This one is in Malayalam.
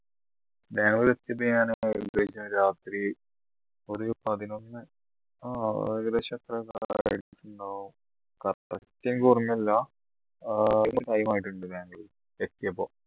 ബാംഗ്ലൂർ എത്തിയത് ഞാൻ ഏകദേശം രാത്രി ഒരു പതിനൊന്ന് ആഹ് ഏകദേശം അത്ര correct എനിക്കോർമ്മയില്ല ബാംഗ്ലൂർ എത്തിയപ്പോ